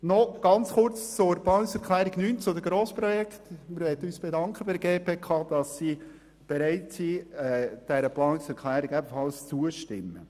Zur Planungserklärung 9 bezüglich Grossprojekten: Wir bedanken uns bei der GPK, dass sie bereit ist, dieser Planungserklärung zuzustimmen.